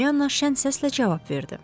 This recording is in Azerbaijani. Pollyanna şən səslə cavab verdi.